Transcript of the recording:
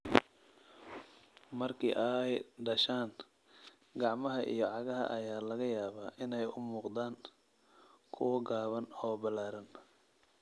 Markii ay dhashaan, gacmaha iyo cagaha ayaa laga yaabaa inay u muuqdaan kuwo gaaban oo ballaaran.